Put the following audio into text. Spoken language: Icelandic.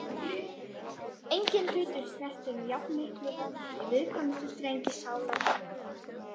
Enginn hlutur snertir með jafnmiklu valdi viðkvæmustu strengi sálar minnar.